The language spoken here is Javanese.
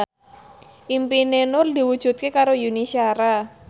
impine Nur diwujudke karo Yuni Shara